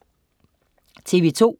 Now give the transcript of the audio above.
TV2: